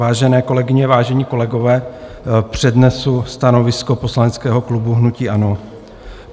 Vážené kolegyně, vážení kolegové, přednesu stanovisko poslaneckého klubu hnutí ANO.